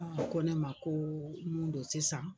Ɔn ko ne ma ko mun be yen sisan.